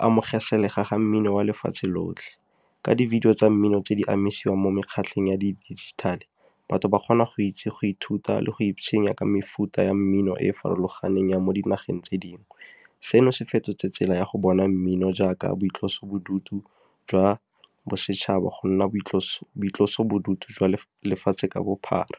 amogeselega ga mmino wa lefatshe lotlhe, ka di-video tsa mmino tse di anamisiwang mo mekgatlhong ya di dijithale. Batho ba kgona go itse go ithuta le go ka mefuta ya mmino e e farologaneng ya mo dinageng tse dingwe. Seno se fetotse tsela ya go bona mmino jaaka boitlosobodutu jwa bosetšhaba go nna boitlosobodutu jwa lefatshe ka bophara.